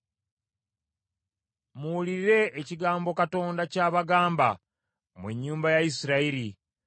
Muwulire ekigambo Katonda ky’abagamba, mmwe ennyumba ya Isirayiri.